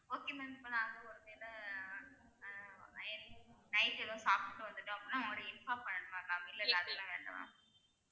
Okay ma'am இப்ப நாங்க ஒரு வேல அஹ் night எதாவது சாப்ட்டு வந்துட்டோம்னா உங்க கிட்ட inform பண்ணணுமா ma'am இல்லலா அதுலா வேண்டாம்லா